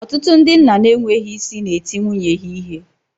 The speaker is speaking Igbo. Ọtụtụ ndị nna n'enweghị isi na-eti nwunye ha ihe